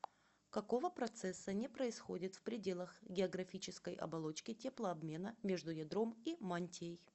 какого процесса не происходит в пределах географической оболочки теплообмена между ядром и мантией